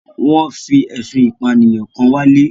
Wọ́n fi ẹ̀sùn ìpànìyàn kan wálé.